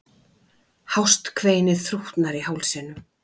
Hást kveinið þrútnar í hálsinum.